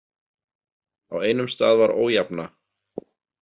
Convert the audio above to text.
Á einum stað var ójafna.